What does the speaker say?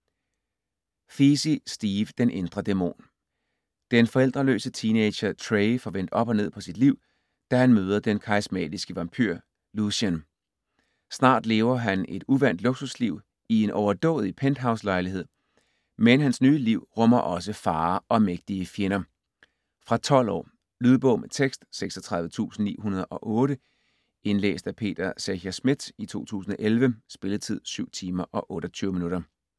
Feasey, Steve: Den indre dæmon Den forældreløse teenager Trey får vendt op og ned på sit liv, da han møder den karismatiske vampyr Lucien. Snart lever han et uvant luksusliv i en overdådig penthouselejlighed. Men hans nye liv rummer også farer og mægtige fjender. Fra 12 år. Lydbog med tekst 36908 Indlæst af Peter Secher Schmidt, 2011. Spilletid: 7 timer, 28 minutter.